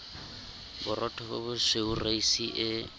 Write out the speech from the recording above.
borotho bo bosweu reisi e